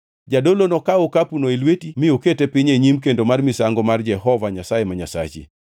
Jadolo nokaw okapuno e lweti mi okete piny e nyim kendo mar misango mar Jehova Nyasaye ma Nyasachi.